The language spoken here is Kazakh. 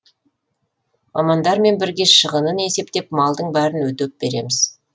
мамандармен бірге шығынын есептеп малдың бәрін өтеп береміз